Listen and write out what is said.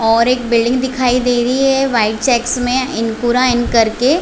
और एक बिल्डिंग दिखाई दे रही है वाइट चेकस में इनपुरा इन कर के--